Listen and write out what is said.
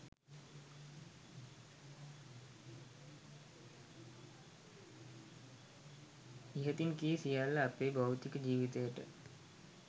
ඉහතින් කී සියල්ල අපේ භෞතික ජීවිතයට